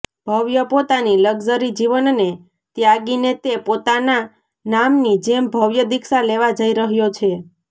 ભવ્ય પોતાની લકઝરી જીવનને ત્યાગીને તે પોતાના નામની જેમ ભવ્ય દીક્ષા લેવા જઈ રહ્યો છે